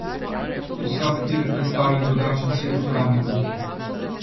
Vsak vir predstavlja drugačen set uporabnikov.